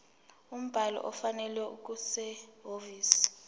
umbhalo ofanele okusehhovisi